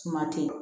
Suma tɛ